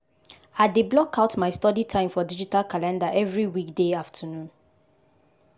i dey block out my study time for digital calender every weekday afternoon.